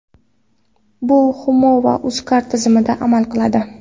Bu Humo va UzCard tizimida amal qiladi.